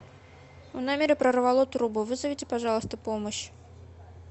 в номере прорвало трубу вызовите пожалуйста помощь